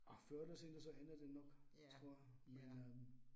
Åh før eller siden, så ender det nok tror jeg men øh